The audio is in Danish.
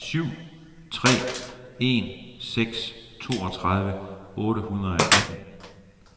syv tre en seks toogtredive otte hundrede og atten